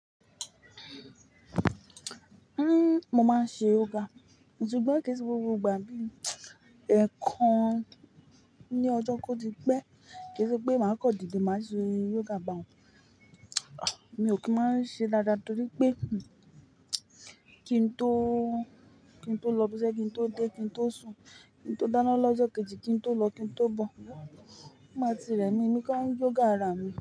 Uhm, mo máa ń ṣe yoga, ṣùgbọ́n kò sí gbogbo ìgbà bí ẹ̀ẹ̀kan ní ọjọ́ kó ti pẹ́ kí ó tó pé màá kọ́ ìdílé máa ṣe yoga báhun. Mi ò kí ń máa ń ṣe dáadáa torí pé kí n tó, kí n tó lọ ibiṣẹ́, kí n tó dé, kí n tó sùn, kí n tó dáná lọ́jọ́ kejì, kí n tó lọ, kí n tó bọ̀, máa ti rẹ̀mi, èmi gan ń yoga ara mi.